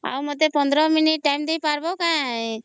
ଆଉ ମତେ 15 minute Time ଦେଇ ପାରିବ କାଇଁ !